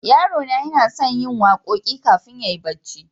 Yarona yana son yin waƙoƙi ƙafin yayi barci.